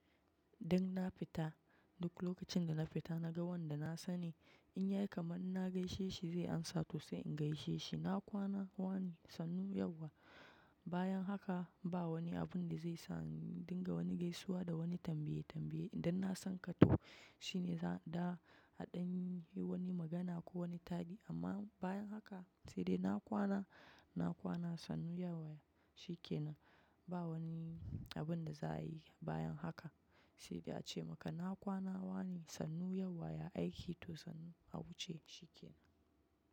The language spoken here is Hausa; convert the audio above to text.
Dan na fita, duk lokacin da na fita na ga wanda na sani. In yayi kamar na gaishe shi zai amsa to sai in gaishe shi. Na kwana wane sannu yauwa. Bayan haka ba wani abinda zai sa in dinga gaisuwa da wani tambaye tambaye idan na sanka to shine za, a danyi wani magana ko wani tadi amma bayan haka sai dai na kwana, na kwana sannu yauwa shi ke nan. Ba wani abun da za a yi bayan haka. Sai dai ace maka na kwana wane sannu yauwa ya aiki to sannu a wuce shi ke nan.